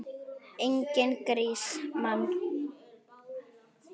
Enginn grís, mann!